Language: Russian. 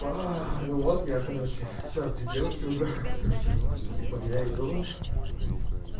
ну вот я короче сейчас без девушки уже типа я иду